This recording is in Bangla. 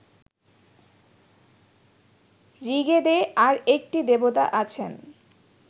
ঋগ্বেদে আর একটি দেবতা আছেন